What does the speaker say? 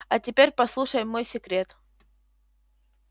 а теперь послушай мой секрет